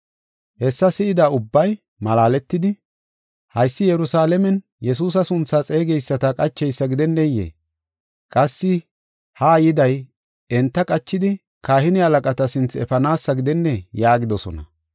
Hessa si7ida ubbay malaaletidi, “Haysi Yerusalaamen Yesuusa sunthaa xeegeyisata qacheysa gidenneyee? Qassi haa yiday enta qachidi, kahine halaqata sinthe efanaasa gidennee?” yaagidosona.